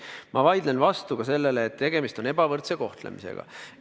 Ma vaidlen vastu ka sellele, et tegemist on ebavõrdse kohtlemisega.